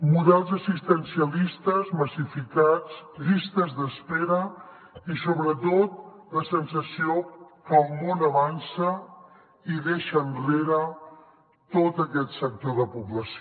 models assistencialistes massificats llistes d’espera i sobretot la sensació que el món avança i deixa enrere tot aquest sector de població